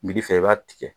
fɛ i b'a tigɛ